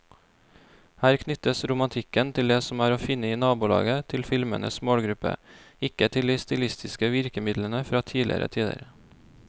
Her knyttes romantikken til det som er å finne i nabolaget til filmens målgruppe, ikke til de stilistiske virkemidlene fra tidligere tider.